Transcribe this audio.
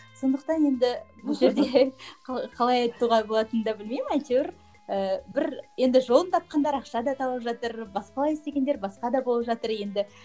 сондықтан енді бұл жерде қалай айтуға болатынын да білмеймін әйтеуір ііі бір енді жолын тапқандар ақша да тауып жатыр басқалай істегендер басқа да болып жатыр енді